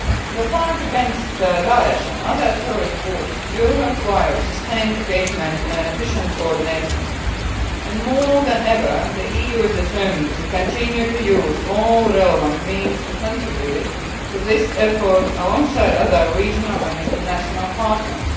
The fight against Daesh and other terrorist groups will require sustained engagement and efficient coordination, and more than ever the EU is determined to continue to use all relevant means to contribute to this effort alongside other regional and international partners.